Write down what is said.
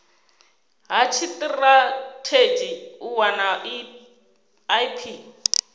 ha tshitirathedzhi u wana ip